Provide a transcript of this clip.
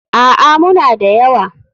A'a, muna da yawa.